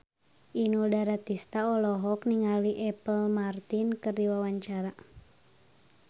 Inul Daratista olohok ningali Apple Martin keur diwawancara